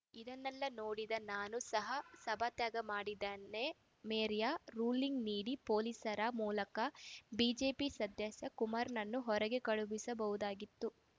ಇದನ್ನೆಲ್ಲಾ ನೋಡಿದ ನಾನೂ ಸಹ ಸಭಾತ್ಯಾಗ ಮಾಡಿದನೆ ಮೇಯರ್‌ ರೂಲಿಂಗ್‌ ನೀಡಿ ಪೊಲೀಸರ ಮೂಲಕ ಬಿಜೆಪಿ ಸದಸ್ಯ ಕುಮಾರನನ್ನು ಹೊರಗೆ ಕಳುಹಿಸಬಹುದಾಗಿತ್ತು